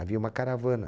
Havia uma caravana.